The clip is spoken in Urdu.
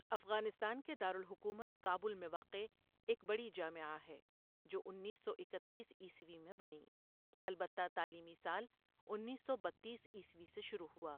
افغانستان کے دار الحکومت کابل میں واقع ایک بڑی جامعہ ہے جو انیس سو اکتیس عیسوی میں بنی، البتہ تعلیمی سال انیس سو بتیس عیسوی سے شروع ہوا ۔